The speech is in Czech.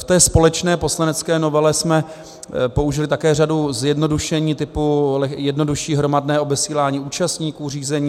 V té společné poslanecké novele jsme použili také řadu zjednodušení typu jednodušší hromadné obesílání účastníků řízení.